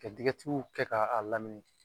Ka kɛ k'a lamini